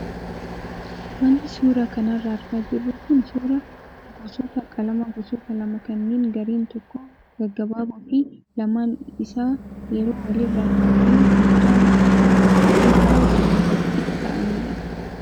Wanti suuraa kanarraa argaa jirru kun suuraa gosoota qalamaa gosoota lama kanneen gareen tokko gaggabaaboo fi lamaan isaa yeroo walirra taa'e hojjaan isaa kan isaan guddaa waliin wal qixa ta'anidha.